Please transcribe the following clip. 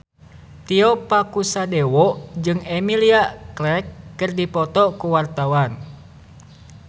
Tio Pakusadewo jeung Emilia Clarke keur dipoto ku wartawan